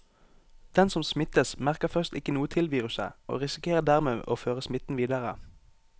Den som smittes, merker først ikke noe til viruset og risikerer dermed å føre smitten videre.